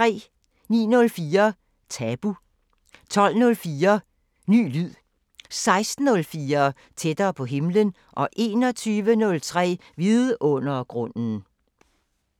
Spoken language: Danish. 09:04: Tabu 12:04: Ny lyd 16:04: Tættere på himlen 21:03: Vidundergrunden